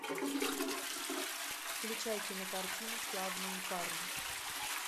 включай кинокартину славные парни